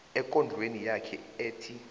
ekondlweni yakhe ethi